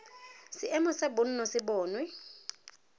seemo sa bonno se bonwe